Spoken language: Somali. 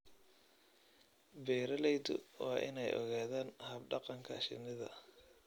Beeraleydu waa in ay ogaadaan hab-dhaqanka shinida.